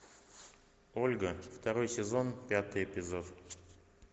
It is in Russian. ольга второй сезон пятый эпизод